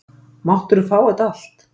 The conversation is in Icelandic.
Máttirðu fá þetta allt?